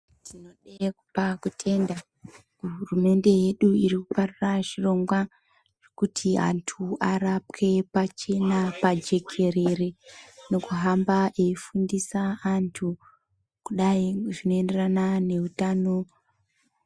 Tinode kupa kutenda kuhurumende yedu irikuparura chirongwa kuti antu arapwe pachena, pajekerere, nekuhamba eifundisa antu kudai zvinoenderana neutano.